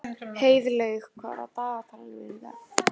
Heiðlaug, hvað er á dagatalinu mínu í dag?